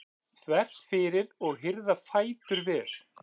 þvert fyrir og hirða fætur vel.